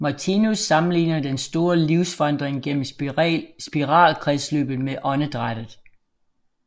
Martinus sammenligner den store livsvandring gennem spiralkredsløbet med åndedrættet